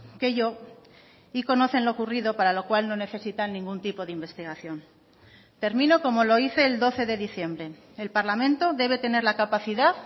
que yo y conocen lo ocurrido para lo cual no necesitan ningún tipo de investigación termino como lo hice el doce de diciembre el parlamento debe tener la capacidad